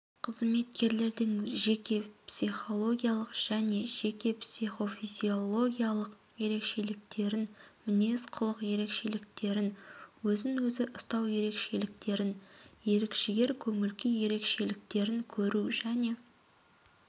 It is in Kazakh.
қызметкерлердің жеке-психологиялық және жеке психофизиологиялық ерекшеліктерін мінез-құлық ерекшеліктерін өз-өзін ұстау ерекшеліктерін ерік-жігер көңіл-күй ерекшеліктерін көру және